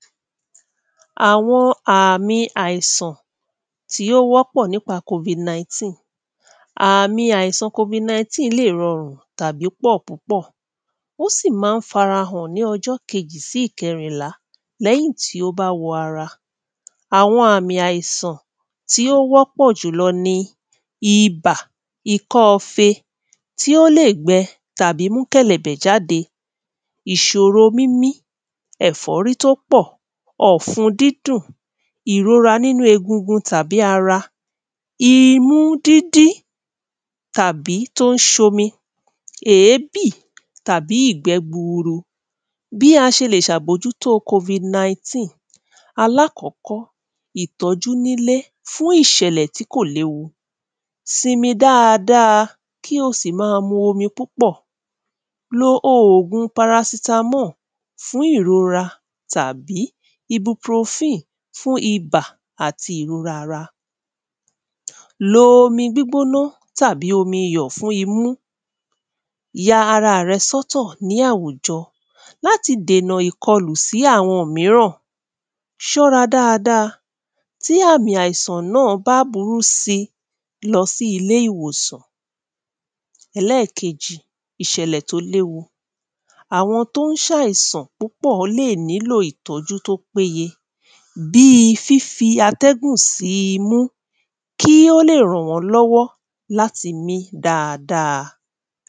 Awọn àmì àisàn tí o wọ pọ̀ nípa COVID-19. Àmì àisàn COVID-19 lè rọ́rùn tàbí pọ́ púpọ̀ Ó sì má n farahàn ní ọjọ́ kejì sí ìkẹrìnlá lẹ́hìn tí o bá wọ ara. Awọn àmì àisàn tí o wọ pọ̀ ní ìbà ikọ́ọ̀fe tí o lè gbẹ tàbí mú kẹ́lẹ̀mbẹ̀ jáde, ìṣòro mímí, ẹ̀fọ́rí tó pọ̀, ọ̀fún dídùn ìrora nínu egungun tàbí ara, imu dídí tàbí tó n ṣomi, èébì tàbí ìgbẹ́ gburu bí a ṣe lè bójú tó COVID-19. Alákọ̀kọ́, ìtójú nílé fún ìṣẹ̀lẹ̀ tí kò léwu simi dáàdáà kí o sì má mú omi púpọ̀ lo ògùn paracetamol fún ìrora tàbí ibuprofen fún ìbà àti ìrora ara lo omi gbígbóná tàbí omi iyọ̀ fún imú, ya ara rẹ sọ́tọ̀ ni àwùjọ láti dènà ìkòlùsí awọn mìíràn ṣọ́ra dáàdáà tí àmì àisàn náa bá burú síì lọ sí ilé ìwòsàn. ẹlẹ́kejì ìṣẹ̀lẹ̀ tó léwu awọn tó n ṣáìsàn púpọ̀ le ní lò ìtójú to péye bíì fífí atẹ́gùn sí imú kí o lè ràn wọn lọ́wọ́ láti mí dáàdáà